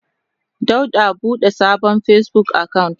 Dauda bude sabon Facebook account.